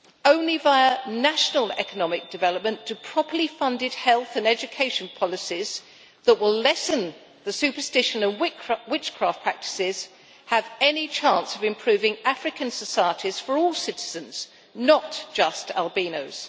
Only via national economic development do properly funded health and education policies that will lessen the superstition and witchcraft practices have any chance of improving African societies for all citizens, not just albinos.